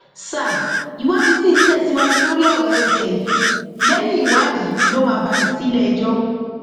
sa ìwádìí sì ń tẹsíwájú lórí ọrọ cs] eze yìí lẹyìn ìwádìí ló máa balẹ sílẹẹjọ